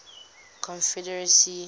confederacy